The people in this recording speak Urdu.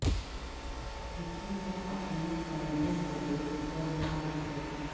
کسی کو اپنے کندھوں کو دیکھ کر نہ لکھو